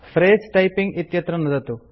फ्रसे typing इत्यत्र नुदतु